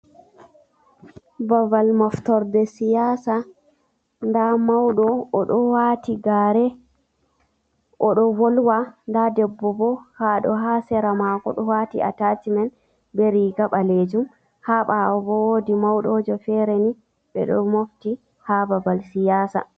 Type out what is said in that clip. Babal moftorde siyasa. Nda mauɗo, o ɗo waati gare, o ɗo volwa. Nda debbo bo ha ɗo, ha sera mako ɗo waati atacmen be riga ɓaleejum. Ha ɓaawo bo woodi mauɗojo fere ni, ɓe ɗo mofti ha babal siyasa.